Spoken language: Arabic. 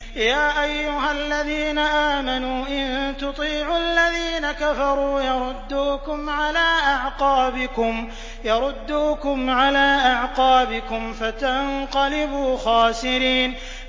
يَا أَيُّهَا الَّذِينَ آمَنُوا إِن تُطِيعُوا الَّذِينَ كَفَرُوا يَرُدُّوكُمْ عَلَىٰ أَعْقَابِكُمْ فَتَنقَلِبُوا خَاسِرِينَ